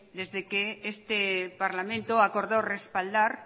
desde que este parlamento acordó respaldar